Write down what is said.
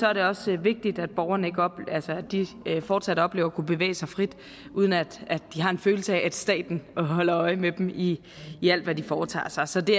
er det også vigtigt at borgerne fortsat oplever at kunne bevæge sig frit uden at de har en følelse af at staten holder øje med dem i i alt hvad de foretager sig så det